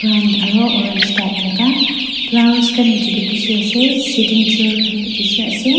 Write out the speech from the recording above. orange type laka flowers khan nichae tae bishi ase sitting chair khan bi bishi ase--